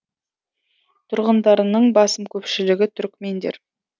тұрғындарының басым көпшілігі түрікмендер